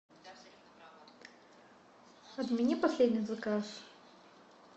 отмени последний заказ